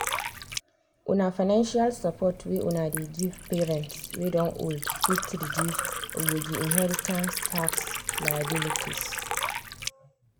una financial support wey una dey give parents wey don old fit reduce ogboge inheritance tax liabilities.